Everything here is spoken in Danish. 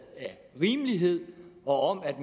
af rimelighed og af at